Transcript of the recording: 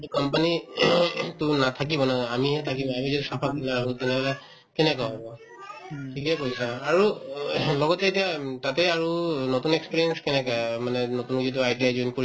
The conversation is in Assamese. to company to নাথাকিব না আমিহে থাকিম আমি যদি চাফা কৰি নাৰাখো তেনেহলে কেনেকে হব ঠিকে কৈছা আৰু লগতে এতিয়া উম তাতে আৰু নতুন experience কেনেকা মানে নতুন যিটো ITI join